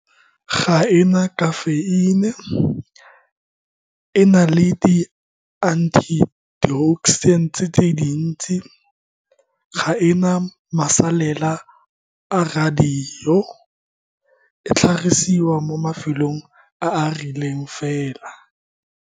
Ga e na kafeini e na le di antioxidant tse dintsi, ga e na masalela a radio, e tlhagisiwa mo mafelong a a rileng fela.